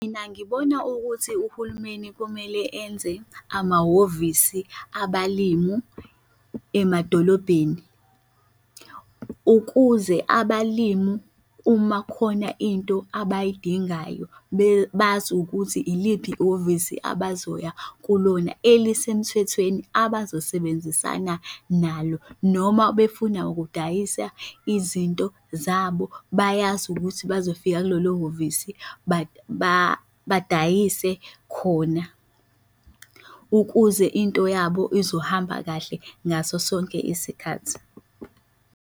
Mina ngibona ukuthi uhulumeni kumele enze amahhovisi abalimu emadolobheni ukuze abalimu uma khona into abayidingayo bazi ukuthi iliphi ihhovisi abazobuya kulona elisemthethweni abazosebenzisana nalo noma befuna ukudayisa izinto zabo bayazi ukuthi bazofika kulolo hhovisi badayise khona ukuze into yabo izohamba kahle ngaso sonke isikhathi.